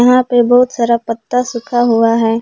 यहां पे बहुत सारा पत्ता सूखा हुआ है।